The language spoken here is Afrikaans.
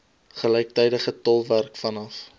gelyktydige tolkwerk vanaf